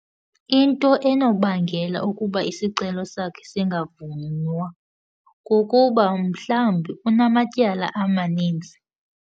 Into enobangela ukuba isicelo sakhe singavunywa kukuba mhlawumbi unamatyala amaninzi.